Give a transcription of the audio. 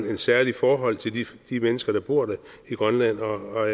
et særligt forhold til de mennesker der bor i grønland og